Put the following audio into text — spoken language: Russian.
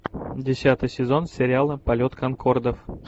десятый сезон сериала полет конкордов